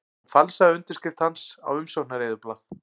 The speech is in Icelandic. Hún falsaði undirskrift hans á umsóknareyðublað